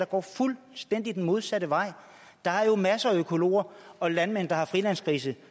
går fuldstændig den modsatte vej der er jo masser af økologer og landmænd der har frilandsgrise